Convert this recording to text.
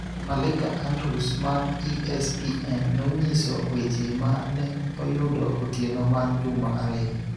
Malika Andrews mar ESPN nonyiso weche ma ne oyudo otieno mar juma ariyo